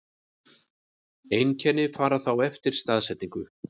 Einkenni fara þá eftir staðsetningu.